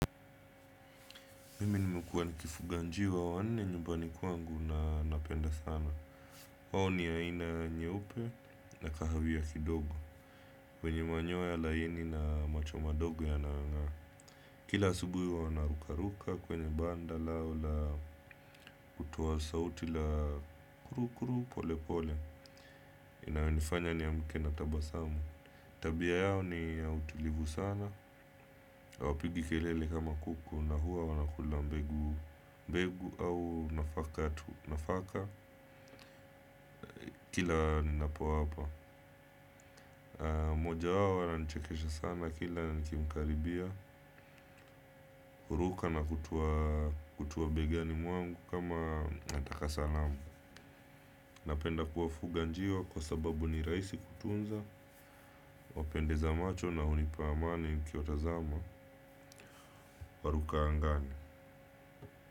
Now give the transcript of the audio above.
Mimi nimekuwa nikifuga njiwa wanne nyumbani kwangu na napenda sana. Wao ni aina nyeupe na kahawia kidogo. Wenye manyoa laini na macho madogo yanayonga. Kila asubuhi wanarukaruka kwenye banda lao la kutoa sauti la kurukuru pole pole. Inayonifanya ni amke na tabasamu. Tabia yao ni ya utilivu sana. Hawapigi kelele kama kuku na huwa wanakula mbegu au nafaka tu kila ninapowapa. Mmojawao ananichekesha sana kila nikimkaribia, huruka na hutua begani mwangu kama anataka salamu. Napenda kuwafuga njiwa kwa sababu ni rahisi kutunza, wapendeza macho na hunipa amani nikiwatazama, waruka angani.